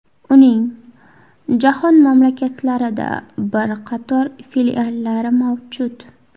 Uning jahon mamlakatlarida bir qator filiallari mavjud.